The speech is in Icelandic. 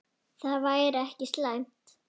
Það væri ekki slæmt.